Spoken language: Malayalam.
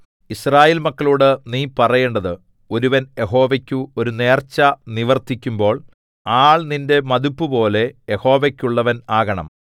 യിസ്രായേൽ മക്കളോടു നീ പറയേണ്ടത് ഒരുവൻ യഹോവയ്ക്ക് ഒരു നേർച്ച നിവർത്തിക്കുമ്പോൾ ആൾ നിന്റെ മതിപ്പുപോലെ യഹോവയ്ക്കുള്ളവൻ ആകണം